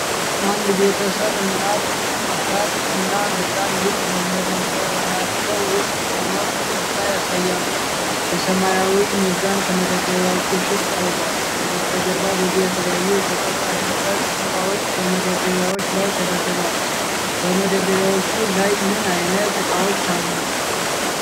አንድ ቤተሰብ እናት፣ አባትና ህፃን ልጅ በመደብራቸው ውስጥ ሆነው ፈገግታ ያሳያሉ። የሰማያዊ ሚዛን ከመደርደሪያዎቹ ፊት ቀርቧል። ከበስተጀርባ ብዙ የተለያዩ የሸቀጣሸቀጥ እቃዎች በመደርደሪያዎች ላይ ተደርድረዋል። በመደርደሪያዎቹ ላይ ምን አይነት እቃዎች አሉ?